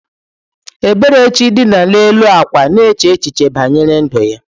Eberechi dina n’elu akwa na-eche echiche banyere ndu ya.